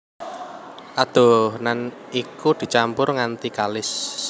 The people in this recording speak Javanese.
Adonan iku dicampur nganti kalis